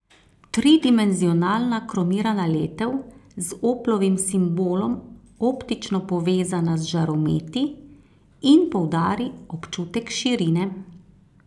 Tridimenzionalna kromirana letev z Oplovim simbolom optično povezana z žarometi in poudari občutek širine.